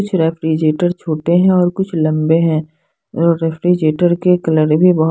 कुछ रेफ्रिजरेटर छोटे हैं और कुछ लंबे हैं और रेफ्रिजरेटर के कलर भी बहो--